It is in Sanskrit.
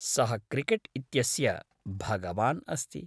सः क्रिकेट् इत्यस्य भगवान् अस्ति।